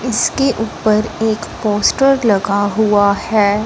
इसके ऊपर एक पोस्टर लगा हुआ हैं।